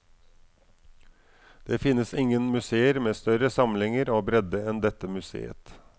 Det finnes ingen museer med større samlinger og bredde enn dette museet.